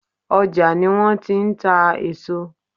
ọ́jà ní wọn ti n tà àwọn eso